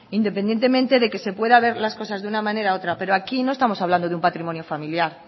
independientemente de que se pueda ver las cosas de una manera u otra pero aquí no estamos hablando de un patrimonio familiar